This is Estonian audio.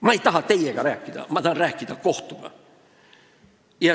Ma ei taha teiega rääkida, ma tahan kohtuga rääkida.